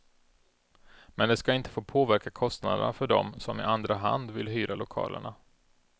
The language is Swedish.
Men det ska inte få påverka kostnaderna för dem som i andra hand vill hyra lokalerna.